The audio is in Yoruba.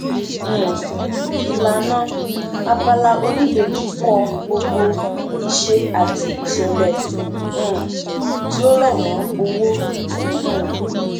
um ìlànà abala oníbejì kọ gbogbo ìṣe àti ìṣẹlẹ um tí ó rọ mọ owó um